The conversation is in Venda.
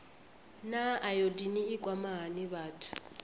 naa ayodini i kwama hani vhathu